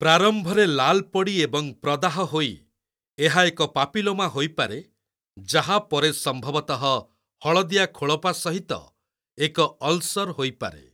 ପ୍ରାରମ୍ଭରେ ଲାଲ୍ ପଡ଼ି ଏବଂ ପ୍ରଦାହ ହୋଇ, ଏହା ଏକ ପାପିଲୋମା ହୋଇପାରେ, ଯାହା ପରେ ସମ୍ଭବତଃ ହଳଦିଆ ଖୋଳପା ସହିତ ଏକ ଅଲ୍‍ସର୍ ହୋଇପାରେ।